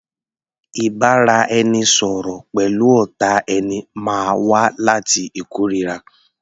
Ìbáraẹnisọ̀rọ̀ pẹ̀lú ọ̀tá ẹni máa wá láti ìkóríra.